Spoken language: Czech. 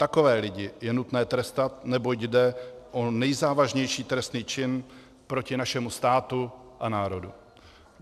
Takové lidi je nutné trestat, neboť jde o nejzávažnější trestný čin proti našemu státu a národu.